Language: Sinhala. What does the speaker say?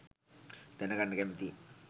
දැනගන්න කැමතියි.